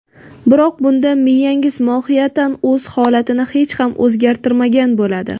Biroq bunda miyangiz mohiyatan o‘z holatini hech ham o‘zgartirmagan bo‘ladi.